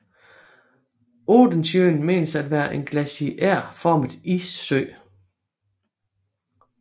Odensjön menes at være en glaciærformet issø